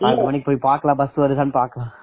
ஆறு மணிக்கு பாக்கலாம் bus வருதான்னு பார்க்கலாம்